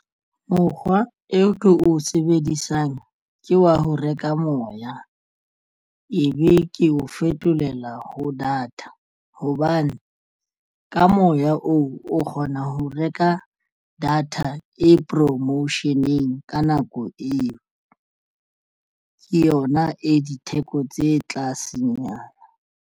Mokgwa e ko o sebedisang ke wa ho reka moya. Ebe ke o fetolela ho data hobane ka moya oo o kgona ho reka data e promotion-eng ka nako eo ke yona e ditheko tse tlasenyana.